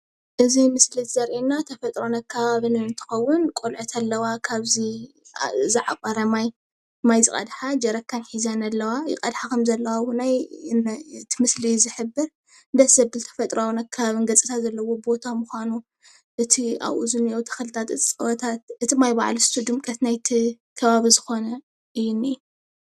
እዚ ምስሊ እዚ ዘርኤና ተፈጥሮን ኣከባብን አንትከውን ቆልዑት ኣለዋ ካብዚ ዝዓቖረ ማይ ማይ ዝቀድሓ ጀረካን ሒዘን ኣለዋ ይቐድሓ ከምዘለዋ ውነዩ ትምስሊ እዩ ዝሕብር ደስ ዘብል ተፈጥራውን ኣከባብን ገጽታ ዘለዎ ቦታ ምኳኑ እቲ ኣብኡ ዝኒአዉ ተኽልታት እጽዋታት እቲ ማይ ባዕሉ ድምቀት ናይቲ ከባቢ ዝኮነ አዩ እኒአ።